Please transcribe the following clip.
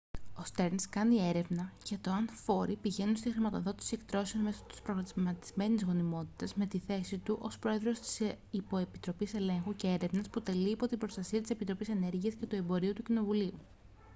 ο στερνς κάνει έρευνα για το αν φόροι πηγαίνουν στη χρηματοδότηση εκτρώσεων μέσω της προγραμματισμένης γονιμότητας με τη θέση του ως πρόεδρος της υποεπιτροπής ελέγχου και έρευνας που τελεί υπό την προστασία της επιτροπής ενέργειας και εμπορίου του κοινοβουλίου